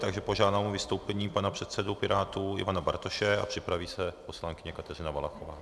Takže požádám o vystoupení pana předsedu Pirátů Ivana Bartoše a připraví se poslankyně Kateřina Valachová.